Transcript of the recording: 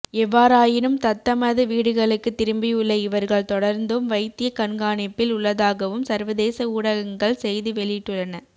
எவ்வாறாயினும் தத்தமது வீடுகளுக்கு திரும்பியுள்ள இவர்கள் தொடர்ந்தும் வைத்திய கண்காணிப்பில் உள்ளதாகவும் சர்வதேச ஊடகங்கள் செய்தி வெளியிட்டுள்ளன